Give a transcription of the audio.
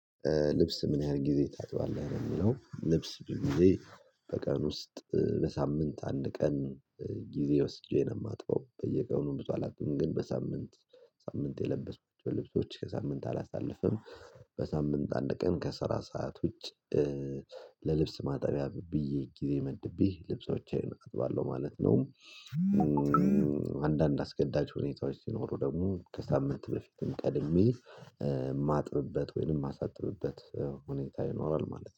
ልብስ ምን ያህል ጊዜ ታጥባለህ? ለሚለው ልብስ ብዙ ጊዜ በቀን ውስጥ በሳምንት አንድ ቀን። ጊዜ ወስጄ ነው የማጥበው በየቀኑ ብዙ አላጥብም ግን በሳምንት ሳምንት የለበስኩት ልብሶች ከሳምንት አላሳልፍም። በሳምንት አንድ ቀን ከስራ ሰዓት ውጪ ለልብስ ማጠቢያ ብዬ ጊዜ መድቤ ልብሶቼን አጥባለሁ ማለት ነው። አንዳንድ አስገዳጅ ሁኔታዎች ሲኖሩ ደግሞ ከሳምንት በፊትም ቀድሜ የማጥብበት ወይንም የማሳጥብበት ሁኔታ ይኖራል ማለት ነው